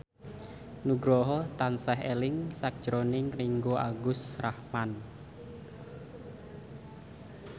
Nugroho tansah eling sakjroning Ringgo Agus Rahman